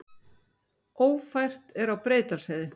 Ófært er á Breiðdalsheiði